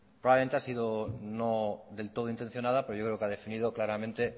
probablemente ha sido no del todo intencionada pero yo creo que ha definido claramente